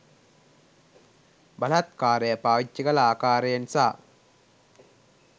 බලහත්කාරය පාවිච්චි කළ ආකරයෙන් සහ.